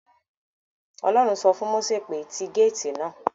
Ọlọ́run sọ fún Mósè pé; ti gáàtì náà